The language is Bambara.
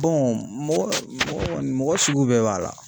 mɔgɔ mɔgɔni mɔgɔ sugu bɛɛ b'a la.